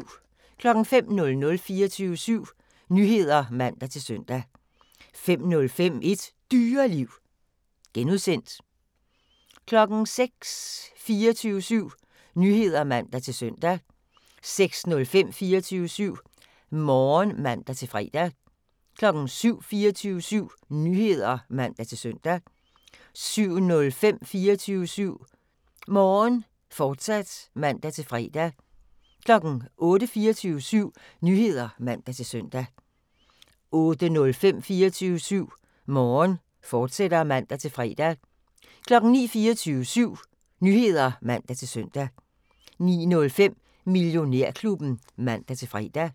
05:00: 24syv Nyheder (man-søn) 05:05: Et Dyreliv (G) 06:00: 24syv Nyheder (man-søn) 06:05: 24syv Morgen (man-fre) 07:00: 24syv Nyheder (man-søn) 07:05: 24syv Morgen, fortsat (man-fre) 08:00: 24syv Nyheder (man-søn) 08:05: 24syv Morgen, fortsat (man-fre) 09:00: 24syv Nyheder (man-søn) 09:05: Millionærklubben (man-fre)